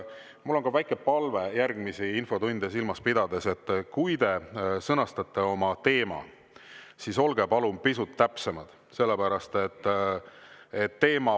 Mul on ka väike palve järgmisi infotunde silmas pidades: kui te sõnastate oma teema, siis olge palun pisut täpsemad, sellepärast et "Varia" ei ole teema.